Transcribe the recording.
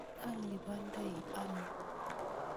Alipondoi ano?